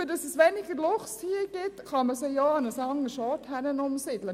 Damit es hier weniger Luchse gibt, kann man sie auch an einen anderen Ort umsiedeln.